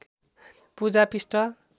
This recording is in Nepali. पूजा पृष्ठ